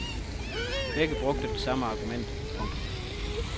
Begge brugte det samme argument. punktum